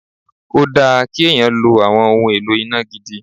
Ó dáa kí èèyàn lo àwọn ohun èlò iná gidi